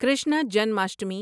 Krishna Janmashtami